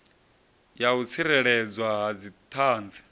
ya u tsireledzwa ha dziṱhanzi